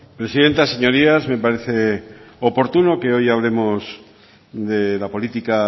presidenta señorías me parece oportuno que hoy hablemos de la política